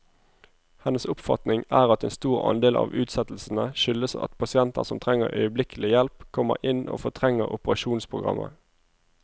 Hennes oppfatning er at en stor andel av utsettelsene skyldes at pasienter som trenger øyeblikkelig hjelp, kommer inn og fortrenger operasjonsprogrammet.